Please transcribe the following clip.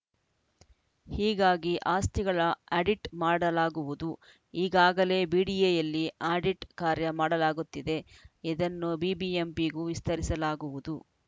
ಹೀಗಾಗಿ ಆಸ್ತಿಗಳ ಆಡಿಟ್‌ ಮಾಡಲಾಗುವುದು ಈಗಾಗಲೇ ಬಿಡಿಎಯಲ್ಲಿ ಆಡಿಟ್‌ ಕಾರ್ಯ ಮಾಡಲಾಗುತ್ತಿದೆ ಇದನ್ನು ಬಿಬಿಎಂಪಿಗೂ ವಿಸ್ತರಿಸಲಾಗುವುದು